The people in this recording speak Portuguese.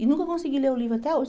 E nunca consegui ler o livro até hoje.